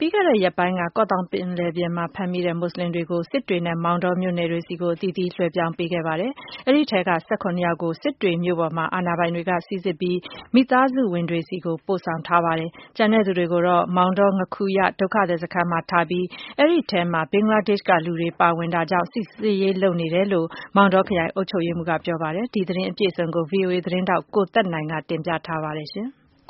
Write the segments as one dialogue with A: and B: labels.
A: ပြီးခဲ့တဲ့ ရက်ပိုင်းက ကော့သောင်းပင်လယ်ပြင်မှာ ဖမ်းမိတဲ့ မွတ်ဆလင်တွေကို စစ်တွေနဲ့ မောင်တော မြို့နယ်သို့ အသီးသီးလွဲပြောင်းပေးခဲ့ပါတယ်။ အဲဒီထဲက ၁၇ယောက်ကို စစ်တွေမြို့ပေါ်ကို ပို့ဆောင်ပြီး အာဏာပိုင်တွေက စိစစ်ပြီး မိသားစုဝင်တွေဆီကို ပို့ဆောင်ထားပါတယ်။ ကျန်တဲ့ သူတွေကိုတော့ မောင်တော ငါးခူရ ဒုက္ခသည် စခန်းကို ပို့ဆောင်ထားပြီး အဲဒီထဲမှာ ဘင်္ဂလားဒေ့ရှ် က လူတွေ ပါဝင်တာကြောင့် စိစစ်ရေး လုပ်ငန်းတွေ လုပ်ဆောင်နေတယ်လို့ မောင်တောခရိုင် အုပ်ချုပ်ရေးမှူးက ပြောပါတယ်။ ဒီသတင်းအပြည့်အစုံကိုတော့ ဗွီအိုအေ သတင်းထောက် ကိုသက်နိုင်က တင်ပြထားပါတယ်။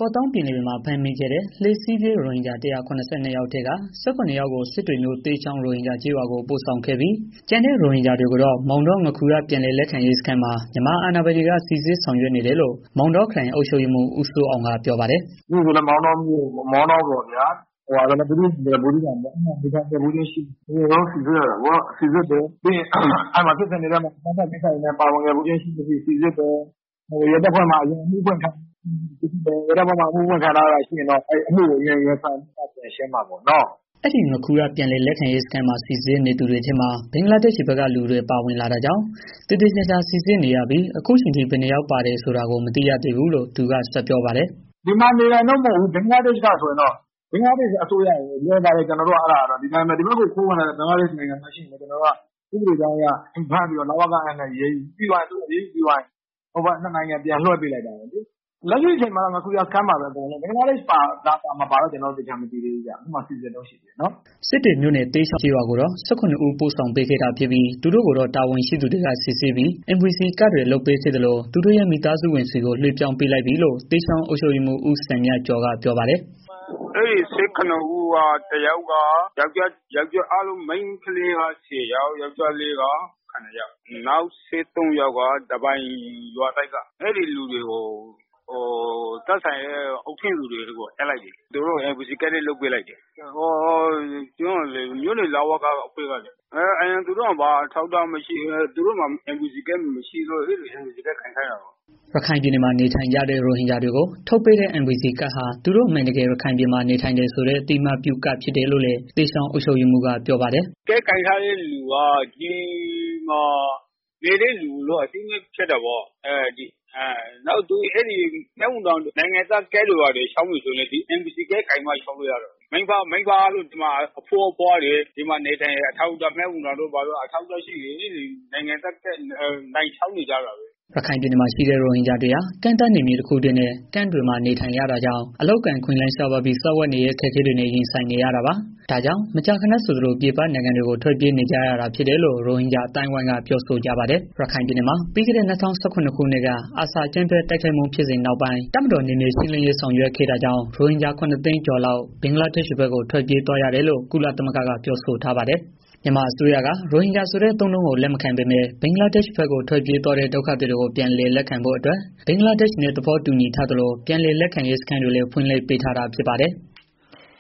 A: ကော့သောင်းပင်လယ်ပြင်မှာ ဖမ်းမိခဲ့တဲ့ လှေစီးပြေး ရိုဟင်ဂျာ ၁၇၂ ယောက်ထဲက ၁၇ ယောက်ကို စစ်တွေမြို့သဲချောင်း ကျေးရွာကို ပို့ဆောင်ခဲ့ပြီး ကျန်တဲ့ ရိုဟင်ဂျာတွေကိုတော့ မောင်တော ငါးခူရ ပြန်လည်လက်ခံရေး စခန်းမှာ မြန်မာ အာဏာပိုင်တွေက စိစစ်ဆောင်ရွက်နေတယ်လို့ မောင်တောခရိုင် အုပ်ချုပ်ရေးမှူးက ဦးစိုးအောင်က ပြောပါတယ်။
B: “ကျနော်တို့ မောင်တော်ခရိုင်မှာ နေထိုင်မှု ရှိမရှိ။ မောင်တောမြို့ဆို မောင်တောပေါ့ဗျာ။ ဘူးသီးတောင်ဆိုလည်း ဘူးသီးတောင်ပေါ့ဗျာ အဲဒီမှာ နေထိုင်ခြင်းရှိမရှိ အဲတာတွေကို စိစစ်ရတာပေါ့။ ဖြစ်စဉ်တွေထဲမှာ ပါဝင်ခြင်းရှိ၊ မရှိ စိစစ်တယ်။ အရင် ရဲတပ်ဖွဲ့မှာ အမှုဖွင့်ထားတာ ရှိ၊ မရှိစိစစ်တယ်။ အမှုဖွင့် ခံထားရတာတွေ ရှိရင်တော့ အမှုကို ရင်ဆိုင်ပြီးမှာ ပြန်ရှင်းရမှာပေါ့နော်။
A: ” အဲဒီငါးခူရ ပြန်လည်လက်ခံရေးစခန်းမှာ စိစစ်နေသူတွေထဲမှာ ဘင်္ဂလားဒေ့ရှ် ဘက်က လူတွေ ပါဝင်တာကြောင့် သေသေချာချာ စိစစ်နေရပြီး အခုအချိန်ထိ ဘယ်နှစ်ယောက်ပါတယ်ဆိုတာကို မသိရသေး
B: ဘူးလို့ သူက ဆက်ပြောပါတယ်။ “ပါတယ်လို့တော့ ကြားတယ် အတိအကျတော့မသိရသေးဘူး ဒီမှာနေတာ မဟုတ်ဘူး ဘင်္ဂလားဒေရှ့်က ဆိုရင် တော့ ဘင်္ဂလားဒေရှ့်အစိုးရနဲ့ ကျနော်တို့က ဒီဘက်ကို ဝင်လာတဲ့ သူတွေရှိရင်လည်း ကျနော်တို့က စိစစ်ပြီး တော့ လဝကနဲ့ ပေါင်းပြီး အရေးယူပြီးသွားရင် နှစ်နိုင်ငံ ပြန်လွဲပြောင်းပေးတာပဲ။ အဲတာက ဒီဘက်နယ်စပ်မှာ လုပ် နေကြပဲ။လက်ရှိအချိန်မှာတော့ သူတို့အားကို ငါးခူရ စခန်းမှာပဲ ရှိသေးတယ်ဗျာ။ ဘင်္ဂလားဒေရှ့် ပါ ၊ မပါဆိုတာ ကိုတော့ အတိအကျ မသိရသေးဘူး ကျနော်တို့ စိစစ်နေတုန်းပဲရှ
A: ိသေးတယ်ဗျာ။” စစ်တွေမြို့နယ် သဲချောင်း ကျေးရွာကိုတော့ ၁၇ ဦး ပို့ဆောင်ပေးခဲ့တာ ဖြစ်ပြီး သူတို့ကိုတော့ တာဝန်ရှိသူတွေက စိစစ်ပြီး NVC ကဒ်တွေလုပ်ပေးခဲ့သလို သူတို့ရဲ့ မိသားစုဝင်တွေဆီသို့ လွှဲ ပြောင်း ပေးလိုက်ပြီလို့ သဲချောင်း အုပ်ချုပ်ရေးမှူး ဦးစံမြတ်ကျော်က ပြောပါတယ်။
B: “အဲဒီ ၁၇ ဦးထဲမှာ မိန်းကလေးက ၁၀ယောက် ၊ ယောကျာ်းလေးက ၇ ယောက် ဓားပိုင် ရွာသစ်က ၁၃ယောက် အဲဒီလူတွေ အားလုံးကို သူတို့ရဲ့ အုပ်ထိန်းသူတွေ ဆီကိုပြန်အပ်လိုက်ပါပြီ။ သူတို့ကို NVC လည်း လုပ်ပေးလိုက်တယ်။ မြို့နယ် လဝက အဖွဲ့ကလေ သူတို့မှာ အရင်က ဘာအထောက်အထားမှမရှိဘူး။ NVC ကဒ်လည်းမရှိဘူးလေ။ အဲကြောင့် အဲဒီ NVC ကဒ် ကိုင်ခိုင်းတာပေါ့။
A: ” ရခိုင်ပြည်နယ်မှာ နေထိုင်ကြတဲ့ ရိုဟင်ဂျာတွေကို ထုတ်ပေးတဲ့ NVC ကဒ်ဟာ သူတို့အမှန်တကယ် ရခိုင်ပြည်မှာ နေထိုင်တယ် ဆိုတဲ့ အသိအမှတ်ပြု ကဒ် ဖြစ်တယ်လို့လည်း သဲချောင်းအုပ်ချုပ်ရေးမှူးက ပြောပါတယ်။
B: “ကဒ်ကိုင်ထားတဲ့ သူတွေက ဒီမှာနေထိုင်တဲ့ သူဖြစ်တယ်ဆိုပြီးတော့ အသိအမှတ်ပြုတာပေါ့။ နောက်ပြီးတော့ နိုင်ငံသား စိစစ်ရေးကဒ်တွေဘာတွေ လျောက်မယ်ဆိုရင်လည်း NVC ကဒ် ကိုင်မှ လျောက်လို့ရတာပေါ့။ မိဘအားလုံး ဒီမှာနေတယ် အဘိုးအဘွား အားလုံးဒီမှာနေတယ်ဆိုရင်တော့ နိုင်သားကဒ် လျောက်နေကြတာပဲ။”
A: ရခိုင်ပြည်နယ် မှာ ရှိနေတဲ့ ရိုဟင်ဂျာတွေဟာ ကန့်သတ်နယ်မြေတစ်ခုတည်းနဲ့ ကန့်တွေမှာ နေထိုင်ရတာကြောင့် အလုပ်အကိုင်အခွင့်အလမ်းရှားပါးပြီး စားဝတ်နေရေး အခက်အခဲတွေနဲ့ ရင်ဆိုင်နေရတာပါ။ ဒါ့ကြောင့် မကြာခဏဆိုလို ပြည်ပ နိုင်ငံတွေကို ထွက်ပြေးနေကြရတာဖြစ်တယ်လို့ ရိုဟင်ဂျာအသိုင်းအဝိုင်းက ပြောဆိုကြပါတယ်။ ရခိုင်ပြည်နယ်မှာ ပြီးခဲ့တဲ့ ၂၀၁၇ ခုနှစ်က ARSA အကြမ်းဖက်တိုက်ခိုက်မှု ဖြစ်စဉ်နောက်ပိုင်းတပ်မတော် နယ်မြေရှင်းလင်းရေးဆောင်ရွက်ခဲ့တာကြောင့် ရိုဟင်ဂျာ ၇သိန်းကျော်လောက် ဘင်္ဂလားဒေ့ရှ်ဘက်ကို ထွက်ပြေး သွားရတယ်လို့ ကုလသမဂ္ဂက ပြောဆိုထားပါတယ်။ မြန်မာအစိုးရ က ရိုဟင်ဂျာဆိုတဲ့ အသုံးအနှုန်းကို လက်မခံ ပေမယ့် ဘင်္ဂလားဒေ့ရှ်ဘက်ကို ထွက်ပြေးသွားတဲ့ ဒုက္ခသည်တွေကို ပြန်လည်လက်ခံဖို့အတွက် ဘင်္ဂလားဒေ့ရှ်နဲ့ သဘောတူညီထားသလို ပြန်လည်လက်ခံရေး စခန်းတွေလည်း ဖွင့်လှစ်ပေး ထားတာ ဖြစ်ပါတယ်။